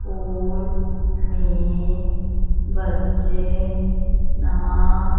pool में बच्चे नहा--